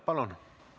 Palun!